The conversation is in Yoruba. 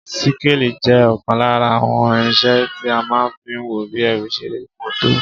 Síkáàli jẹ́ ọ̀kan lára àwọn irinṣẹ́ tí a máa ń fi wo bí ẹrù ṣe wúwo tó